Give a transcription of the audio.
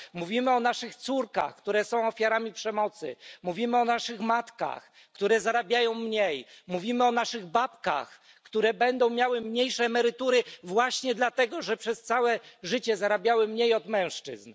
Mówimy o naszych córkach, które są ofiarami przemocy, mówimy o naszych matkach, które zarabiają mniej, mówimy o naszych babkach, które będą miały mniejsze emerytury właśnie dlatego, że przez całe życie zarabiały mniej od mężczyzn.